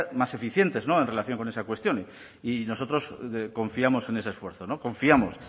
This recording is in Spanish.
más eficientes no en relación con esa cuestión y nosotros confiamos en ese esfuerzo confiamos